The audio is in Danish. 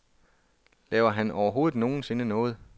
Laver han overhovedet nogensinde noget?